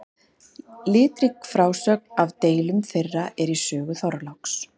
Litrík frásögn af deilum þeirra er í sögu Þorláks.